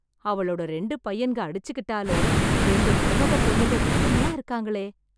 அவளோட ரெண்டு பையன்ங்க அடிச்சிக்கிட்டாலும், ரெண்டு மருமகப் பொண்ணுங்க ஒத்துமையா இருக்காங்களே...